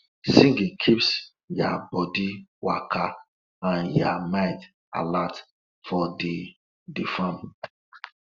singing keeps ya bodi waka and ya mind alert for di di farm